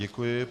Děkuji.